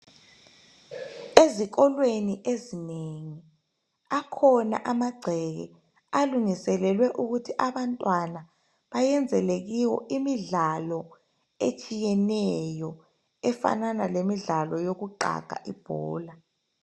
Ezikolweni eninengi, akhona amagceke, alungiselelwe ukuthi abantwana bayenzele kiwo, imidlalo, etshiyeneyo. Efanana, lemidlalo yokuqaga ibhola.